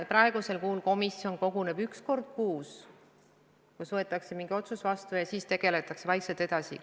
Praegusel juhul komisjon koguneb üks kord kuus, võetakse mingi otsus vastu ja siis tegutsetakse vaikselt edasi.